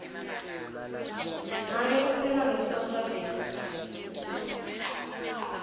make upheka ngesitofu sagesi